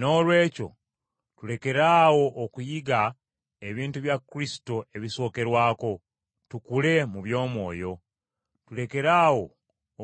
Noolwekyo tulekeraawo okuyiga ebintu bya Kristo ebisookerwako, tukule mu by’omwoyo. Tulekeraawo